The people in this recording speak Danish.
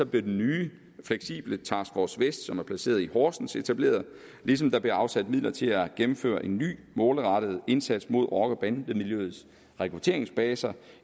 blev den nye fleksible task force vest som er placeret i horsens etableret ligesom der blev afsat midler til at gennemføre en ny målrettet indsats mod rocker bande miljøets rekrutteringsbaser